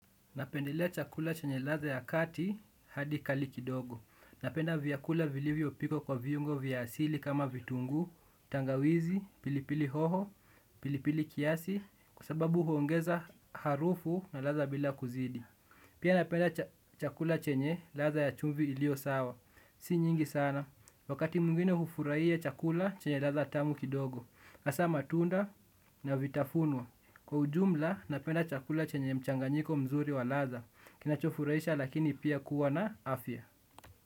Napendelea chakula chenye ladha ya kati hadi kali kidogo. Napenda vyakula vilivyo pikwa kwa viungo vya asili kama vitunguu, tangawizi, pilipili hoho, pilipili kiasi, kwa sababu huongeza harufu na ladha bila kuzidi. Pia napenda chakula chenye ladha ya chumvi ilio sawa. Si nyingi sana. Wakati mwingine hufuraia chakula chenye ladha tamu kidogo. Hasaa matunda na vitafunwa. Kwa ujumla napenda chakula chenye mchanganyiko mzuri wa ladha. Kinachofuraisha lakini pia kuwa na afya.